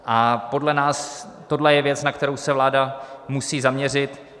A podle nás tohle je věc, na kterou se vláda musí zaměřit.